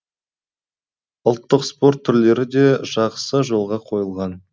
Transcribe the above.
ұлттық спорт түрлері де жақсы жолға қойылған